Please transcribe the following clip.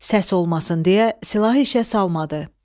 Səs olmasın deyə silahı işə salmadı.